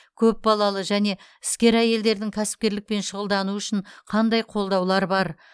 көпбалалы және іскер әйелдердің кәсіпкерлікпен шұғылдануы үшін қандай қолдаулар бар